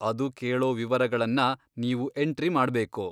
ಅದು ಕೇಳೋ ವಿವರಗಳನ್ನ ನೀವು ಎಂಟ್ರಿ ಮಾಡ್ಬೇಕು.